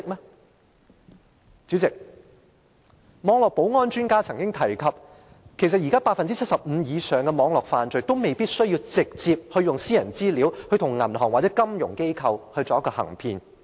代理主席，網絡保安專家曾經提出，其實現時 75% 以上的網絡犯罪，未必需要直接利用私人資料，向銀行或金融機構行騙。